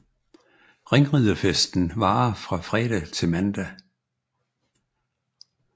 Ringriderfesten varer fra fredag til mandag